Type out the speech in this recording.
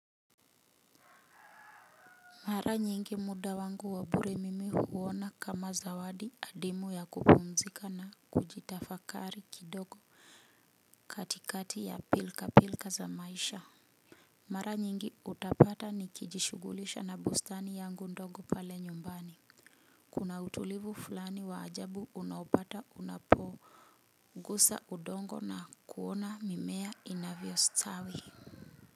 Mara nyingi muda wangu wa bure mimi huona kama zawadi adimu ya kupumzika na kujitafakari kidogo katikati ya pilka pilka za maisha. Mara nyingi utapata ni kijishugulisha na bustani yangu ndogo pale nyumbani. Kuna utulivu fulani wa ajabu unaopata unapoo gusa udongo na kuona mimea inavyo stawi.